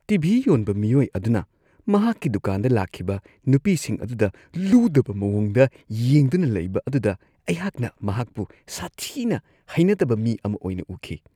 TV. ꯌꯣꯟꯕ ꯃꯤꯑꯣꯏ ꯑꯗꯨꯅ ꯃꯍꯥꯛꯀꯤ ꯗꯨꯀꯥꯟꯗ ꯂꯥꯛꯈꯤꯕ ꯅꯨꯄꯤꯁꯤꯡ ꯑꯗꯨꯗ ꯂꯨꯗꯕ ꯃꯋꯣꯡꯗ ꯌꯦꯡꯗꯨꯅ ꯂꯩꯕ ꯑꯗꯨꯗ ꯑꯩꯍꯥꯛꯅ ꯃꯍꯥꯛꯄꯨ ꯁꯥꯊꯤꯅ ꯍꯩꯅꯗꯕ ꯃꯤ ꯑꯃ ꯑꯣꯏꯅ ꯎꯈꯤ ꯫